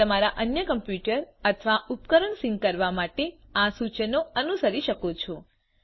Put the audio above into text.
તમે તમારા અન્ય કમ્પ્યુટર અથવા ઉપકરણ સિંક કરવા માટે આ સૂચનો અનુસરી શકો છો